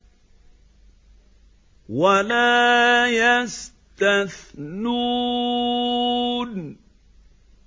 وَلَا يَسْتَثْنُونَ